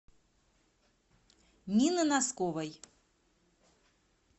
нины носковой